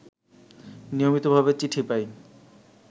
নিয়মিতভাবে চিঠি পাই